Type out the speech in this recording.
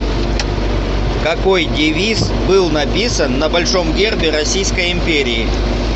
какой девиз был написан на большом гербе российской империи